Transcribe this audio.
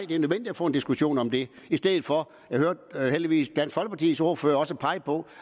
det er nødvendigt at få en diskussion om det i stedet for jeg hørte heldigvis at dansk folkepartis ordfører også pegede på